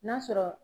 N'a sɔrɔ